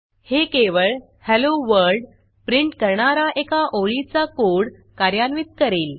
हे केवळ hello world print करणारा एका ओळीचा कोड कार्यान्वित करेल